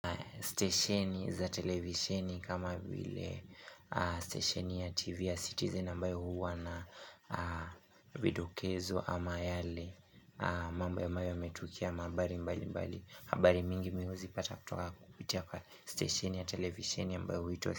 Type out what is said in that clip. Stesheni za televisheni kama vile stesheni ya tv ya citizen ambayo huwa na vidokezo ama yale mambo ambayo yametukia ama habari mbali mbali habari mingi mihuzi pata kutoka kupitia kwa stesheni ya televisheni ambayo huitwa.